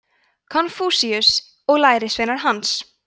konfúsíus og lærisveinar hans